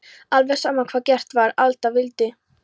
Alveg sama hvað gert var, alltaf vildi